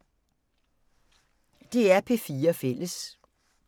DR P4 Fælles